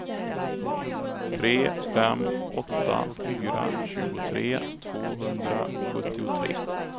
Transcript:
tre fem åtta fyra tjugotre tvåhundrasjuttiotre